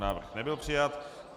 Návrh nebyl přijat.